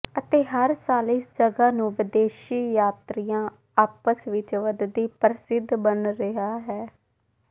ਅਤੇ ਹਰ ਸਾਲ ਇਸ ਜਗ੍ਹਾ ਨੂੰ ਵਿਦੇਸ਼ੀ ਯਾਤਰੀਆ ਆਪਸ ਵਿੱਚ ਵਧਦੀ ਪ੍ਰਸਿੱਧ ਬਣ ਰਿਹਾ ਹੈ